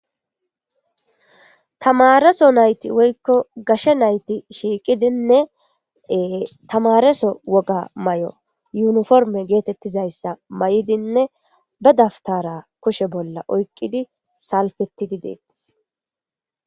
Tamareso nayti woykko gashe nayti shiiqidinne tamareso woga may'o yuniforme geetettizayssa may'idinne ba daftara kushe bolla oykqidi salfetidi deettis.